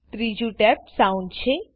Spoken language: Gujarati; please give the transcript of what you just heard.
ત્રીજું ટેબ Soundછે